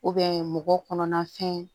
mɔgɔ kɔnɔna fɛn